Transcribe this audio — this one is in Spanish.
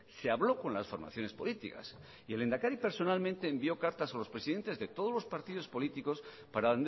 se habló con las formaciones políticas y el lehendakari personalmente envió cartas a los presidentes de todos los partidos políticos para